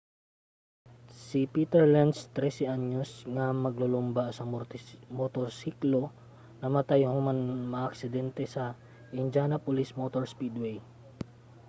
si peter lenz 13-anyos nga maglulumba sa motorsiklo namatay human makaaksidente sa indianapolis motor speedway